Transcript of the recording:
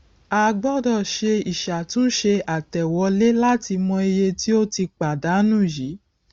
a gbọdọ ṣe ìṣàtúnṣe àtẹwolé láti mọ iye tí ó ti pàdánù yíì